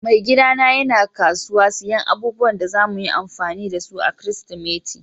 Mai gida na yana kasuwa siyan abubuwan da zamu yi amfani da su a'kiristimeti.